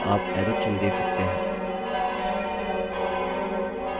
headings पर आप arrow चिन्ह देख सकते हैं